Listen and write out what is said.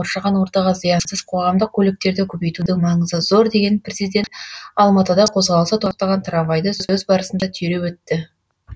қоршаған ортаға зиянсыз қоғамдық көліктерді көбейтудің маңызы зор деген президент алматыда қозғалысы тоқтаған трамвайды сөз барысында түйреп өтті